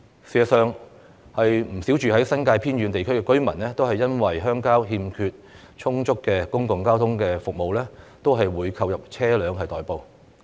事實上，不少住在新界偏遠地區的居民也會因鄉郊欠缺充足公共交通服務而購入車輛代步。